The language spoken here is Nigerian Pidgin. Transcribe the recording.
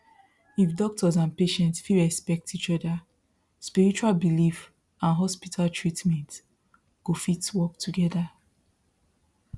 if doctors and patients fit respect each other spiritual belief and hospital treatment go fit work together